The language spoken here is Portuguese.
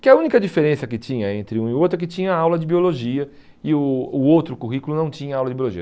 Que a única diferença que tinha entre um e o outro é que tinha aula de biologia e o o outro currículo não tinha aula de biologia.